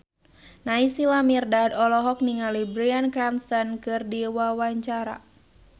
Naysila Mirdad olohok ningali Bryan Cranston keur diwawancara